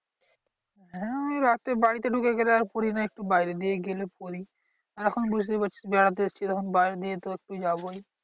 হ্যাঁ ওই রাতে বাড়িতে ঢুকে গেলে আর পড়ি না একটু বাইরের দিকে গেলে পড়ি। আর এখন বুঝতেই পারছিস বেড়াতে এসেছি বাইরের দিকে তো একটু যাবোই।